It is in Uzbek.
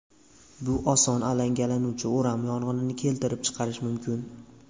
Bu oson alangalanuvchi o‘ram yong‘inni keltirib chiqarishi mumkin.